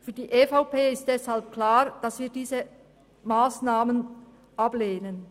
Für die EVP ist deshalb klar, dass wir diese Massnahmen ablehnen.